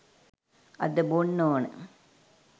අද බොන්න ඕන.